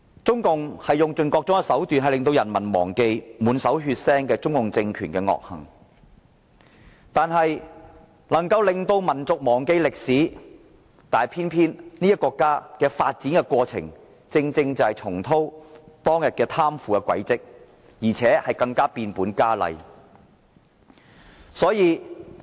中共政權用盡各種手段令人民忘記其滿手血腥的惡行，令民族忘記歷史，但偏偏這個國家今天正重蹈當天貪腐的覆轍，而且更加變本加厲。